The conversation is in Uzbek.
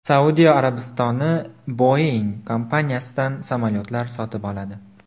Saudiya Arabistoni Boeing kompaniyasidan samolyotlar sotib oladi.